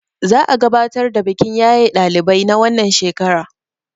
za a gabatar da bikin yaye ɗalibai na wannan shekara